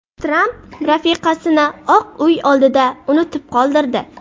Tramp rafiqasini Oq Uy oldida unutib qoldirdi .